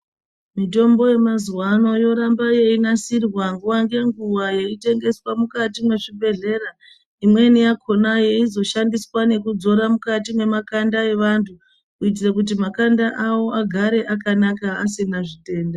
Mitombo yemazuwaano yoramba yeinasirwa nguwa ngenguwa yeitengeswa mukati mwezvibhedhlera. Imweni yakhona yeizoshandiswa kudzora mukati memakanda evantu, kuitire kuti makanda avo agare akanaka asina zvitenda.